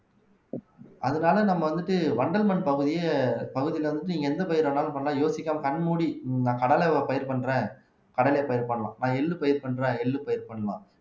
அதனால நம்ம வந்துட்டு வண்டல் மண் பகுதியே பகுதியில இருந்துட்டு நீங்க எந்த பயிர் வேணாலும் பண்ணலாம் யோசிக்காம கண்மூடி இந்த கடலை பயிர் பண்றேன் கடலை பயிர் பண்ணலாம் நான் எள்ளு பயிர் பண்றேன் எள்ளு பயிர் பண்ணலாம்